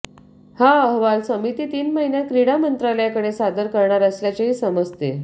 हा अहवाल समिती तीन महिन्यात क्रीडा मंत्रालयाकडे सादर करणार असल्याचेही समजते